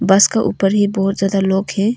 बस का ऊपर ही बहुत ज्यादा लोग है।